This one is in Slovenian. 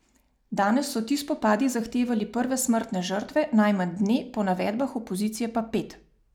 Danes so ti spopadi zahtevali prve smrtne žrtve, najmanj dve, po navedbah opozicije pa pet.